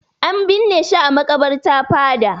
An binne shi a maƙabarta fada.